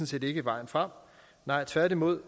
set ikke er vejen frem nej tværtimod